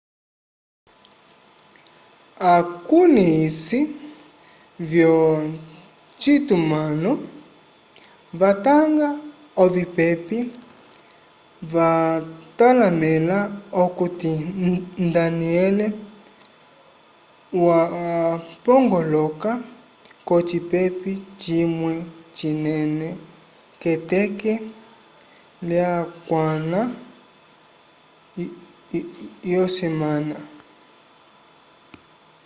akulĩhisi vyocitumãlo vatanga ovipepe vatalamẽla okuti danielle wapongoloka k'ocipepe cimwe cinene k'eteke lyakwãla yosemana